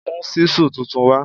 Mú ṣísù tuntun wá